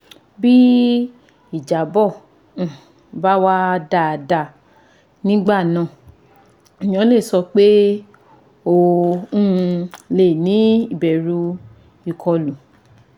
Bí ìjábọ̀ um bá wá dáadáa nígbà náà èèyàn lè sọ pé o um lè ní ìbẹ̀rù ìkọlù